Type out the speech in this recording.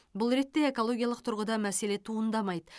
бұл ретте экологиялық тұрғыда мәселе туындамайды